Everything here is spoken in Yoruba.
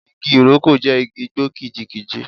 Igi Ìrókò jẹ́ igi igbó kìjikìji.